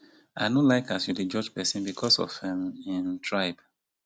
i no like as you dey judge pesin because of um im tribe.